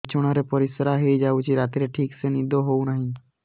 ବିଛଣା ରେ ପରିଶ୍ରା ହେଇ ଯାଉଛି ରାତିରେ ଠିକ ସେ ନିଦ ହେଉନାହିଁ